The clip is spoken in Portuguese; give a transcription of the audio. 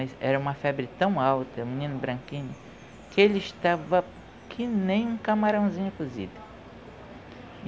Era uma febre tão alta, menino branquinho, que ele estava que nem um camarãozinho cozido.